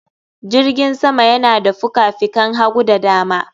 Jirgin sama yana da fikafikan hagu da dama